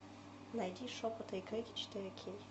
найти шепоты и крики четыре кей